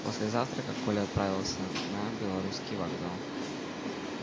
после завтрака коля отправился на белорусский вокзал